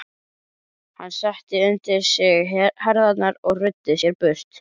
Hann setti undir sig herðarnar og ruddi sér braut.